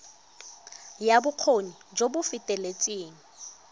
ya bokgoni jo bo feteletseng